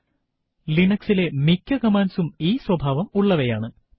Linux ലെ മിക്ക കമാൻഡ്സും ഈ സ്വഭാവം ഉള്ളവയാണ്